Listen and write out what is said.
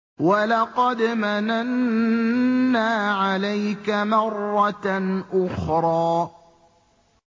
وَلَقَدْ مَنَنَّا عَلَيْكَ مَرَّةً أُخْرَىٰ